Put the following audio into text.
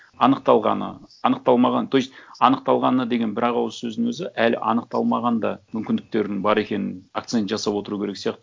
анықталғаны анықталмағаны то есть анықталғаны деген бір ақ ауыз сөздің өзі әлі анықталмаған да мүмкіндіктерінің бар екенін акцент жасап отыру керек сияқты